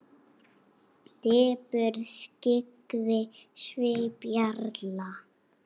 Depurð skyggði svip jarla.